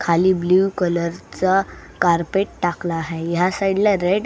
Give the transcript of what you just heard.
खाली blue colour चा carpet टाकला आहे ह्या साइड ला रेड --